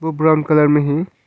Brown colour में है।